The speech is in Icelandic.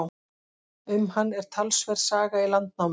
Um hann er talsverð saga í Landnámu.